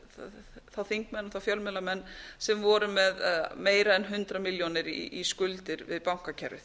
þá þingmenn og þá fjölmiðlamenn sem voru með meira en hundrað milljónir í skuldir við bankakerfið